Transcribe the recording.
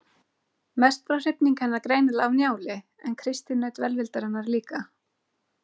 Mest var hrifning hennar greinilega af Njáli en Kristín naut velvildarinnar líka.